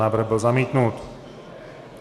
Návrh byl zamítnut.